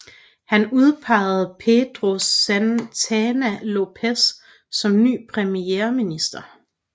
Han udpegede Pedro Santana Lopes som ny premierminister